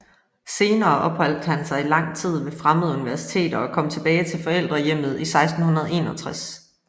Senere opholdt han sig i lang tid ved fremmede universiteter og kom tilbage til forældrehjemmet 1661